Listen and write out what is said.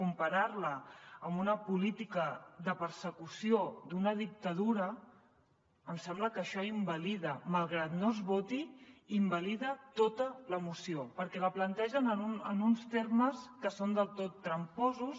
comparar la amb una política de persecució d’una dictadura em sembla que això invalida malgrat que no es voti tota la moció perquè la plantegen en uns termes que són del tot tramposos